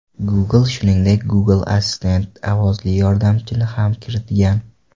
Google, shuningdek, Google Assistant ovozli yordamchini ham kiritgan.